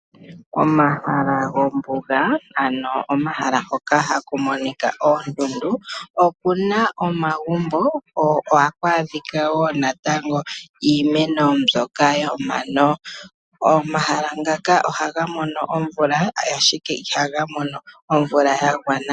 Omahala gombuga ano omahala ngoka haku monika oondundu oku na omagumbo ko ohaku adhika woo natango iimeno mbyoka yomano . Omahala ngaka ohaga mono omvula, ashike ihaga mono omvula ya gwana.